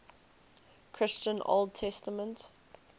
christian old testament